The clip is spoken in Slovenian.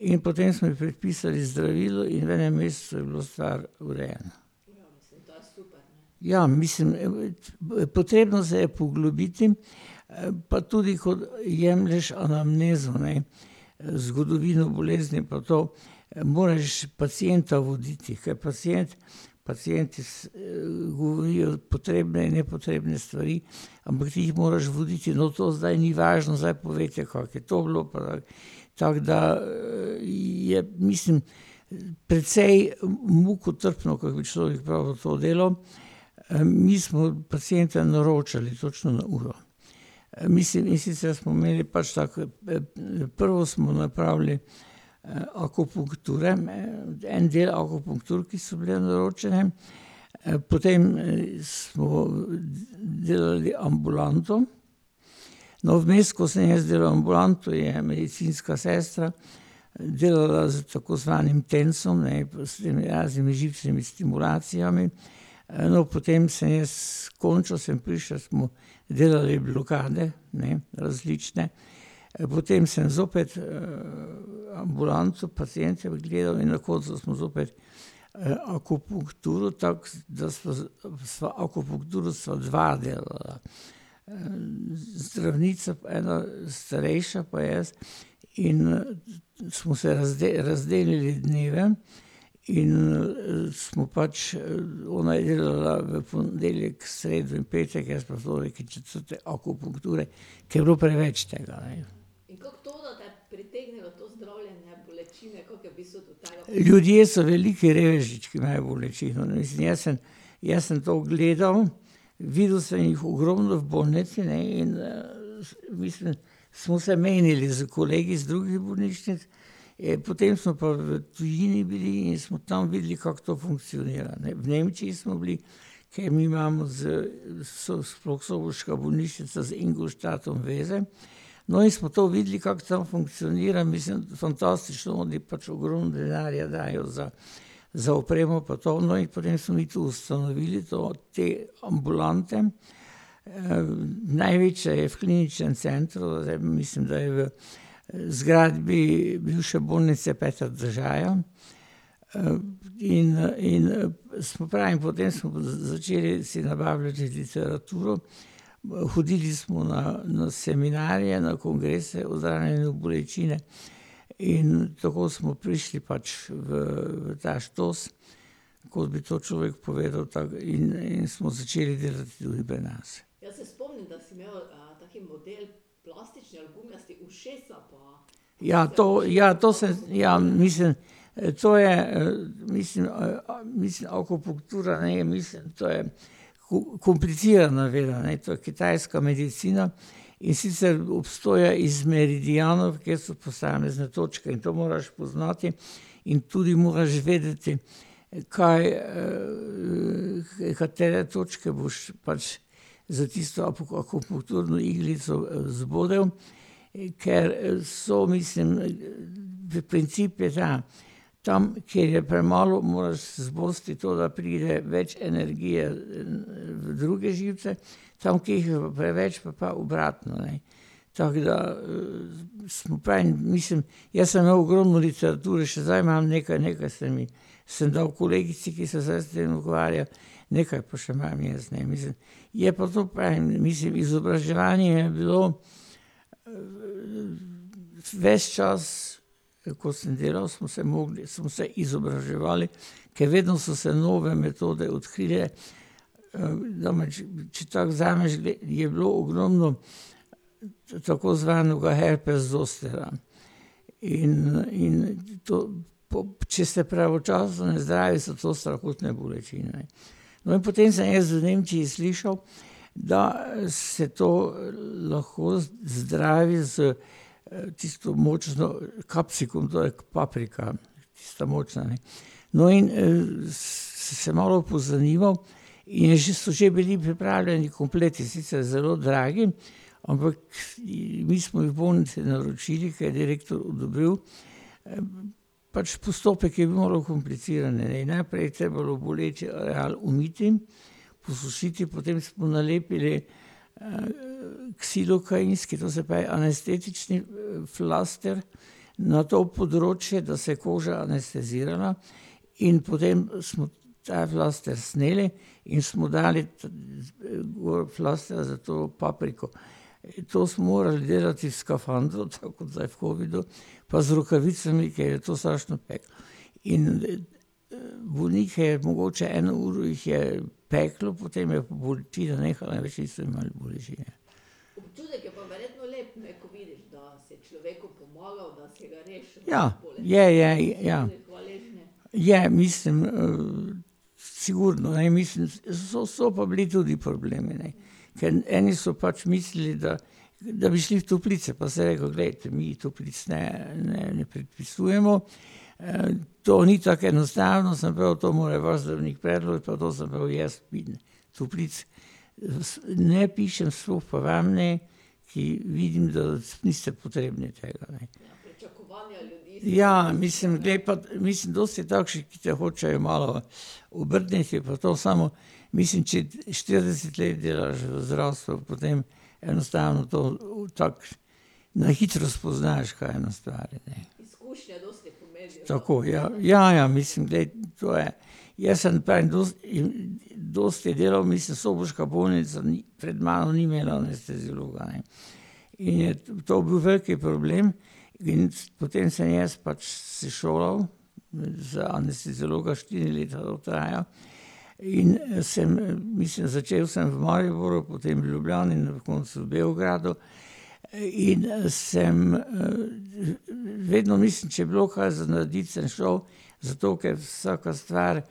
in potem smo ji predpisali zdravila in v enem mesecu je bila stvar urejena. Ja, mislim, potrebno se je poglobiti, pa tudi ko jemlješ anamnezo, ne. zgodovino bolezni pa to ... Moraš pacienta voditi, ker pacient pacienti govorijo potrebne in nepotrebne stvari, ampak ti jih moraš voditi: "No, to zdaj ni važno, zdaj povejte, kako je to bilo, pa ..." Tako da, je, mislim, precej mukotrpno, kak bi človek pravil, to delo, mi smo pacienta naročali točno na uro. mislim, in sicer smo imeli pač tako, prvo smo napravili, akupunkture, ne, en del akupunktur, ki so bile naročene. potem smo delali ambulanto, no, vmes, ko sem jaz delal ambulanto, je medicinska sestra delala s tako znanim tensom, ne, prav s temi raznimi živčnimi stimulacijami, no, potem sem jaz, končno sem prišel, smo delali blokade, ne, različne. potem sem zopet, ambulanto, paciente ogledal in na koncu smo zopet akupunkturo, tako, da sva sva ... Akupunkturo sva dva delala. zdravnica pa ena starejša pa jaz in smo se razdelili dneve in, smo pač ona je delala v ponedeljek, sredo in petek, jaz pa torek in četrtek akupunkture. Ker je bilo preveč tega, ne. Ljudje so veliki reveži, če, ki imajo bolečino, ne, in jaz sem, jaz sem to gledal, videl sem jih ogromno v bolnici, ne, in, mislim, smo se menili s kolegi iz drugih bolnišnic. potem so pa v tujini bili in smo tam videli, kako to funkcionira, ne. V Nemčiji smo bili, ker mi imamo z ... sploh soboška bolnišnica, z Ingolstadtom veze, no, in smo to videli, kako tam funkcionira, mislim, fantastično, oni pač ogromno denarja dajo za, za opremo pa to, no, in potem smo mi tu ustanovili to, te ambulante. največja je v Kliničnem centru, zdaj mislim, da je v zgradbi bivše Bolnice Petra Držaja, in in, saj pravim, potem smo pa začeli si nabavljati že literaturo, hodili smo na, na seminarje, na kongrese o zdravljenju bolečine in tako smo prišli pač v ta štos, kako bi to človek povedal, tako, in, in smo začeli delati tudi pri nas. Ja, to, ja, to se ... ja, mislim ... to je mislim mislim akupunktura, ne, mislim, to je komplicirana veda, ne, to je kitajska medicina, in sicer obstoja iz meridianov, kjer so posamezne točke, in to moraš poznati in tudi moraš vedeti, kaj, katere točke boš pač s tisto akupunkturno iglico zbodel, ker so, mislim ... Princip je ta, tam, kjer je premalo, moraš zbosti to, da pride več energije v druge živce, tam, kjer jih je preveč, pa obratno, ne. Tako da, saj pravim, mislim, jaz sem imel ogromno literature, še zdaj imam nekaj, nekaj sem jih, sem dal kolegici, ki se zdaj s tem ukvarja, nekaj pa še imam jaz, ne, mislim. Je pa to, pravim, mislim, izobraževanje je bilo ves čas, ko sem delal, smo se mogli, smo se izobraževali, ker vedno so se nove metode odkrile, da , če tako vzameš, gre, je bilo ogromno to tako znano kot herpes zostera. In, in to, to ... Če se pravočasno ne zdravi, so to strahotne bolečine, ne. No, potem sem jaz v Nemčiji slišal, da se to lahko zdravi s tisto močno kapsikam, to je paprika, tista močna, ne. No, in se malo pozanimal, je že, so že bili pripravljeni kompleti, sicr zelo dragi, ampak mi smo jih v bolnici naročili, ker je direktor odobril, ... Pač postopek je malo kompliciran, ne, in najprej je treba boleče ali umiti, posušiti, potem smo nalepili ksilokainske, to se pravi anestetični flašter na to področje, da se je koža anestezirala, in potem smo ta flašter sneli in smo dali gor flašter za to papriko. To smo morali delati v skafandru, to ko zdaj v covidu, pa z rokavicami, ker je to strašno peklo. In bolnike je mogoče, eno uro jih je peklo, potem je pa bolečina nehala, nič niso imeli bolečine. Ja, je, je, ja. Je, mislim, sigurno, ne, mislim, so, so pa bili tudi problemi, ne. Ker eni so pač mislili, da, da bi šli v toplice, pa sem rekel: "Glejte, mi toplic ne, ne, ne predpisujemo, to ni tako enostavno, samo prav to more prav zdravnik predlog, nato sem pa jaz toplic. ne pišem, sploh pa vam ne, ki vidim, da niste potrebni tega, ne." Ja, mislim, glej, pa, mislim, dosti takšnih, ki te hočejo malo obrniti pa to, samo mislim, če štirideset let delaš v zdravstvu, potem enostavno to, v ... Na hitro spoznaš, kaj nastaja v ljudeh. Tako, ja, ja, ja, mislim, glej, to je ... Jaz sem, pravim, dosti in ... Dosti delal, mislim, soboška bolnica ni, pred mano ni imela anesteziologa, ne. In je to bil velik problem in potem sem jaz pač se šolal, za anesteziologa, štiri leta to traja, in sem, mislim začel sem v Mariboru, potem v Ljubljani, na koncu v Beogradu. In sem, vedno mislim, če je bilo kaj za narediti, sem šel, zato ker vsaka stvar